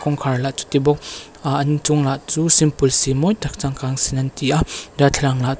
kawngkhar lah chuti bawk ahh an inchung lah chu simple si mawi tak changkang zi in an ti a darthlalang lah--